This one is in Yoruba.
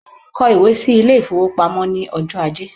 Kọ ìwé sí ilé-ìfowópamọ́ ní ọjọ́ ajé